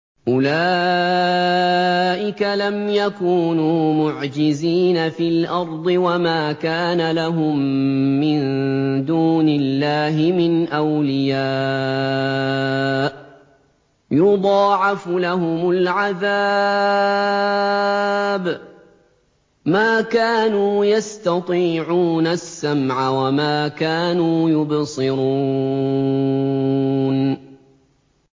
أُولَٰئِكَ لَمْ يَكُونُوا مُعْجِزِينَ فِي الْأَرْضِ وَمَا كَانَ لَهُم مِّن دُونِ اللَّهِ مِنْ أَوْلِيَاءَ ۘ يُضَاعَفُ لَهُمُ الْعَذَابُ ۚ مَا كَانُوا يَسْتَطِيعُونَ السَّمْعَ وَمَا كَانُوا يُبْصِرُونَ